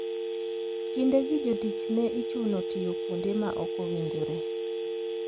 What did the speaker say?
Kindegi jotich ne ichuno tiyo kuonde ma ok owinjore.